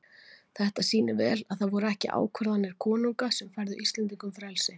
Þetta sýnir vel að það voru ekki ákvarðanir konunga sem færðu Íslendingum frelsi.